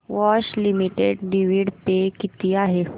Bosch limited dividend pay किती आहे